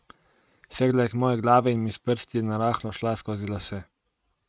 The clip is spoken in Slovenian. Segla je k moji glavi in mi s prsti narahlo šla skozi lase.